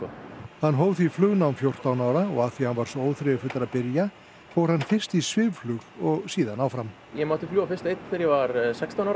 hann hóf því flugnám fjórtán ára af því að hann var svo óþreyjufullur að byrja fór hann fyrst í svifflug og síðan áfram ég mátti fljúga fyrst einn þegar ég var sextán ára